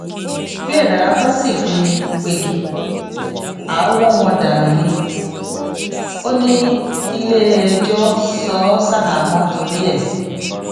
béèrà bá sì fi ní pegi àá wọn ọn dànù ni ó ní kílẹ ẹjọ so ó ṣaháàmọ torí ẹ